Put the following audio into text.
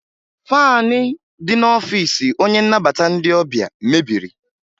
Faanị dị n'ọfiisi onye nnabata ndị ọbịa mebiri